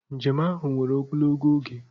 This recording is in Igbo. Njem ahụ were ogologo oge.